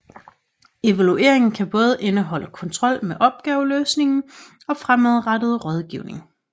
Evalueringen kan både indeholde kontrol med opgaveløsningen og fremadrettet rådgivning